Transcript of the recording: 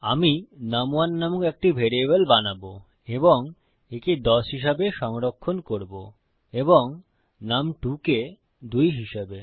আমি নুম1 নামক একটি ভ্যারিয়েবল বানাবো এবং একে ১০ হিসাবে সংরক্ষণ করব এবং নুম2 কে ২ হিসাবে